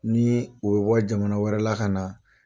Ni ye u bɛ bɔ jamana wɛrɛ la ka na